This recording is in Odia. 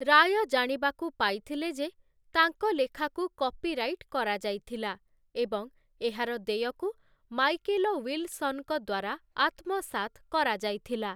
ରାୟ, ଜାଣିବାକୁ ପାଇଥିଲେ ଯେ ତାଙ୍କ ଲେଖାକୁ କପିରାଇଟ କରାଯାଇଥିଲା ଏବଂ ଏହାର ଦେୟକୁ ମାଇକେଲ ୱିଲସନଙ୍କ ଦ୍ୱାରା ଆତ୍ମସାତ୍ କରାଯାଇଥିଲା ।